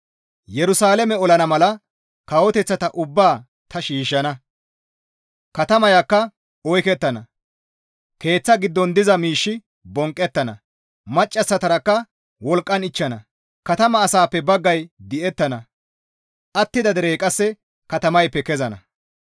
Yerusalaame olana mala kawoteththata ubbaa ta shiishshana; katamayakka oykettana; keeththa giddon diza miishshi bonqqettana; maccassatarakka wolqqan ichchana; katama asaappe baggay di7ettana; attida derey qasse katamayppe kezenna.